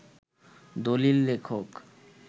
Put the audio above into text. দলিল লেখক